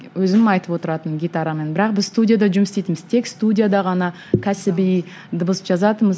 өзім айтып отыратынмын гитарамен бірақ біз студияда жұмыс істьейтінбіз тек студияда ғана кәсіби дыбыс жазатынбыз